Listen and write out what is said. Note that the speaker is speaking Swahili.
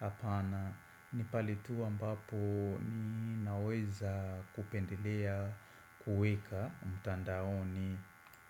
hapana ni pahali tu ambapo ni naweza kupendelea kuweka mtandaoni.